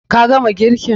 Ka gama girkin?